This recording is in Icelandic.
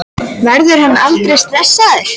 Verður hann aldrei stressaður?